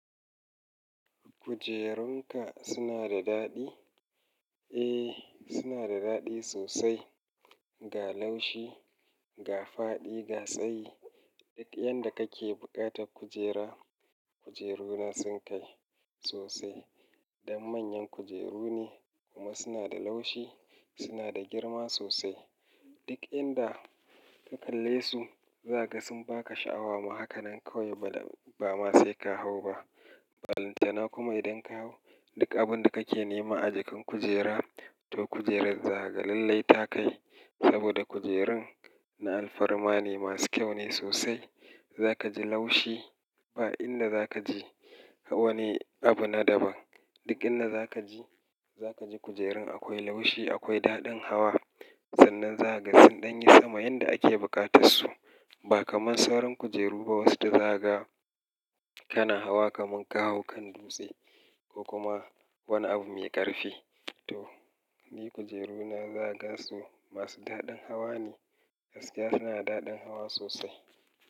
Kujerun ka suna da daɗi? Eh, suna da daɗi sosai. Ga laushi, ga faɗi, ga tsayi. Duk yanda kake buƙatar kujera, kujeruna sun kai sosai. Dan manyan kujeru ne kuma suna da laushi, suna da girma sosai. Duk inda ka kalle su, za ka ga sun ba ka sha'awa ma. Hakanan kawai ba ma sai ka hau ba. Balantana kuma idan ka hau, duk abun da kake nema a jikin kujera to kujerar zakaga lalle ta kai. Saboda kujerun na alfarma ne, masu kyau ne sosai. Za ka ji laushi. Ba inda za ka ji wani abu na daban. Duk inda za ka ji, za ka ji kujerun akwai laushi, akwai daɗin hawa. Sannan za ka ga sun ɗan yi sama yanda ake buƙatar su. Ba kamar sauran kujeru ba wasu da za kaga, kana hawa kamar ka hau kan dutse ko kuma wani abun mai ƙarfi. To, ni kujeru na zaka gansu masu daɗin hawa ne. Gaskiya suna da daɗin hawa sosai.